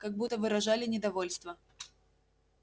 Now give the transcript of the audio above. как будто выражали недовольство